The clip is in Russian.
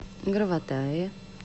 граватаи